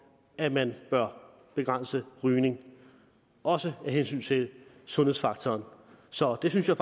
at man bør begrænse rygning også af hensyn til sundhedsfaktoren så det synes jeg